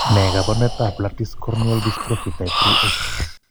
Ne kaabarunetap Lattice corneal dystrophy type 3A?